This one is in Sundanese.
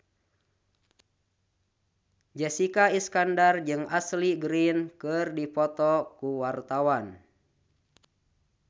Jessica Iskandar jeung Ashley Greene keur dipoto ku wartawan